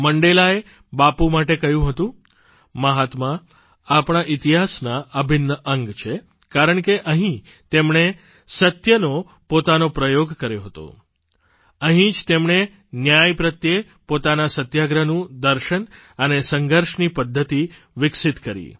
મંડેલાએ બાપુ માટે કહ્યું હતું મહાત્મા આપણા ઇતિહાસના અભિન્ન અંગ છે કારણ કે અહીં તેમણે સત્યને પોતાનો પ્રયોગ કર્યો હતો અહીં જ તેમણે ન્યાય પ્રત્યે પોતાના સત્યાગ્રહનું દર્શન અને સંઘર્ષની પદ્ધતિ વિકસિત કરી